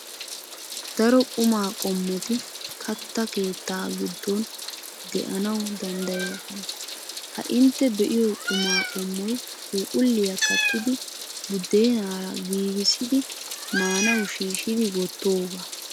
Daro qumaa qommoti kattaa keettaa giddon de'anawu danddayoosona. Ha intte be'iyo qumaa qommoy phuuphphulliya kattidi buddenaara giigissidi maanawu shiishshidi wottoogaa.